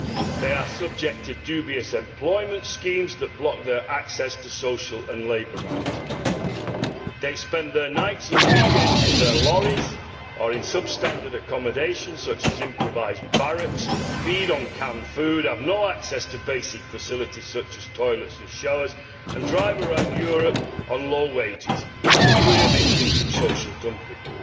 They are subject to dubious employment schemes that block their access to social and labour rights, they spend their nights and weekends in their lorries or in substandard accommodation such as improvised barracks, feed on canned food, have no access to basic facilities such as toilets and showers, and drive around Europe on low wages the clear victims of social dumping.